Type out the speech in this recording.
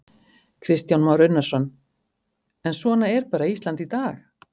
Kristján Már Unnarsson: En svona er bara Ísland í dag?